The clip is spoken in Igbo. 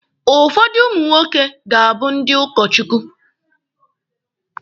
Ụfọdụ ụmụ nwoke ga-abụ ndị ụkọ Chukwu.